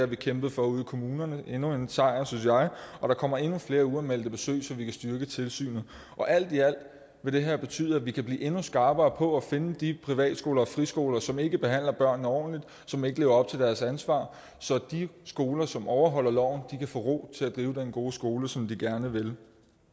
vi kæmpet for ude i kommunerne endnu en sejr synes jeg og der kommer endnu flere uanmeldte besøg så vi kan styrke tilsynet alt i alt vil det her betyde at vi kan blive endnu skarpere på at finde de privatskoler og friskoler som ikke behandler børnene ordentligt som ikke lever op til deres ansvar så de skoler som overholder loven kan få ro til at drive den gode skole som de gerne vil